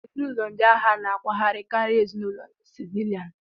Ezinụlọ ndị agha na-akwagharị karịa ezinụlọ ndị sivilian.